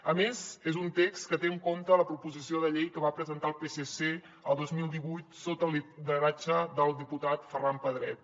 a més és un text que té en compte la proposició de llei que va presentar el psc el dos mil divuit sota el lideratge del diputat ferran pedret